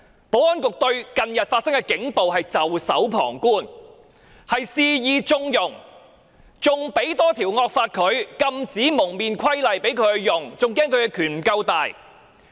保安局對近日發生的警暴事件袖手旁觀，肆意縱容，還制定多一條惡法《禁止蒙面規例》供他們使用，唯恐他們的權力不夠龐大。